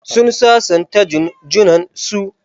Sun sasanta Jun junan su.